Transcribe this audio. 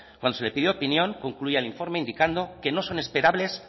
cuando se le pidió opinión concluía el informe indicando que no son esperables